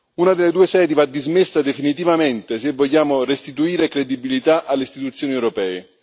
Una delle due sedi va dismessa definitivamente se vogliamo restituire credibilità alle istituzioni europee.